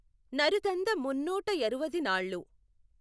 నరుదంద మున్నూటయఱువది నాళ్ళు